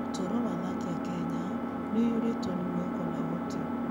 Ũtũũro wa athaki a Kenya nĩ ũiyũrĩtwo nĩ mwĩhoko na ũhoti.